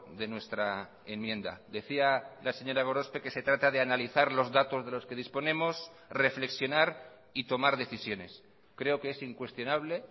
de nuestra enmienda decía la señora gorospe que se trata de analizar los datos de los que disponemos reflexionar y tomar decisiones creo que es incuestionable